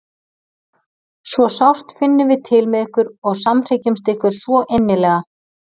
Svo sárt finnum við til með ykkur og samhryggjumst ykkur svo innilega.